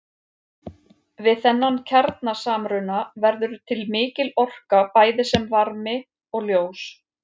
Við þennan kjarnasamruna verður til mikil orka bæði sem varmi og ljós.